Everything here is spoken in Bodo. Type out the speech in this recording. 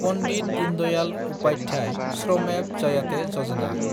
पन्डित दीनदयाल उपाध्याय श्रमेब जायाते यजना